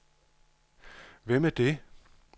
Hvem er det